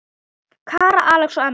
Kara, Alex og Emma.